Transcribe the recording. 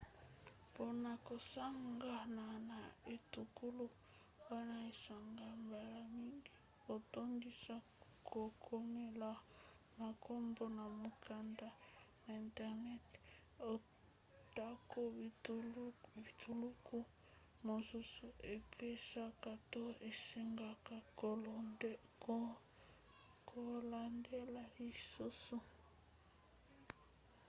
mpona kosangana na etuluku wana esengaka mbala mingi kotondisa kokomela makambo na mokanda na internet; atako bituluku mosusu epesaka to esengaka kolandela lisusu